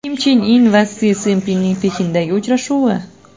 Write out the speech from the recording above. Kim Chen In va Si Szinpinning Pekindagi uchrashuvi.